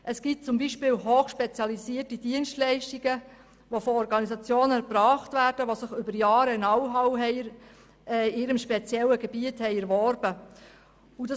Es gibt zum Beispiel hochspezialisierte Dienstleistungen, die von Organisationen erbracht werden, die über Jahre Know-how in ihrem speziellen Gebiet aufgebaut haben.